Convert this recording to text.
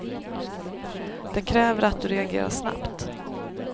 Det kräver att du reagerar snabbt.